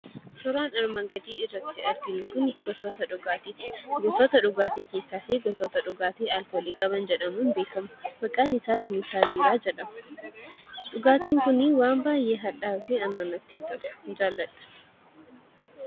Suuraan armaan gadii irratti arginu kunii gosoota dhugaatii keessaafi gosoota dhugaatii keessaas gosoota dhugaatii aalkoolii qaban jedhamuun beekkama. maqaan isaas meettaa biiraa jedhama. Dhugaatiin kunii waan baayyee hadhaa'uufi anaan natti hin tolu.